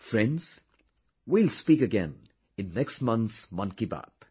Friends, we will speak again in next month's Mann Ki Baat